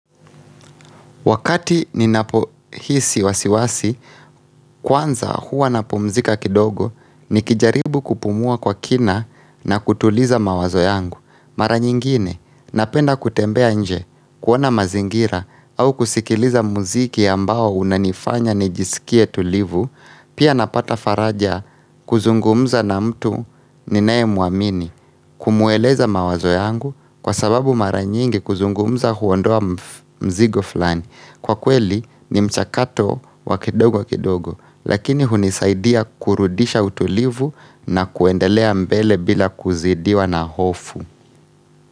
Wakati ninapohisi wasiwasi, kwanza huwa napumzika kidogo nikijaribu kupumua kwa kina na kutuliza mawazo yangu. Mara nyingine napenda kutembea nje kuona mazingira au kusikiliza muziki ambao unanifanya nijisikie tulivu, pia napata faraja kuzungumza na mtu ninaye mwamini kumweleza mawazo yangu kwa sababu mara nyingi kuzungumza huondoa mzigo fulani. Kwa kweli ni mchakato wa kidogo kidogo Lakini hunisaidia kurudisha utulivu na kuendelea mbele bila kuzidiwa na hofu.